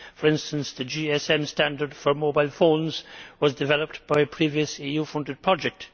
For instance, the GSM standard for mobile phones was developed by a previous EU funded project.